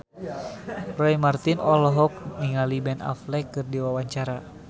Roy Marten olohok ningali Ben Affleck keur diwawancara